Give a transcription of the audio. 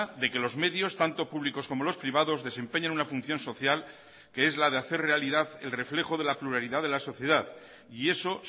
de que los medios tanto públicos como los privados desempeñan una función social que es la de hacer realidad el reflejo de la pluralidad de la sociedad y eso